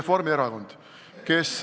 Reformierakond.